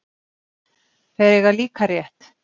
Þeir eiga líka rétt